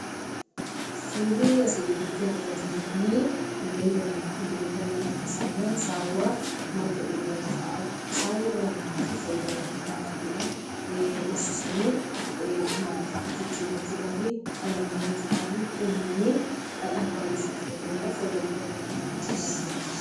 Suurri asii gaditti argaa jirru kunii bineelda manaati. Bineelda manaa keessaa immoo saawwa marga dheedaa jirtuudha. Saawwi dhala namaatiif faayidaa hedduu kan laattuu dha. Horsiisanii maallaqatti jijjiirrachuudhaa fi qalanii nyaachuudhaa fi elmanii dhadhaa fi baaduu isheettii fayyadamuudhaaf faayidaa hedduu kan namaaf laattuu dha.